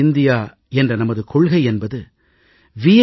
புதிய இந்தியா என்ற நமது கொள்கை என்பது வி